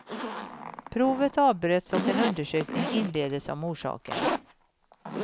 Provet avbröts och en undersökning inleddes om orsaken.